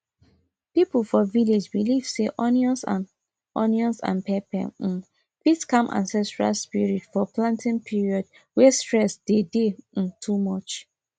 people for village believe say onions and onions and pepper um fit calm ancestral spirit for planting period way stress dey day um too much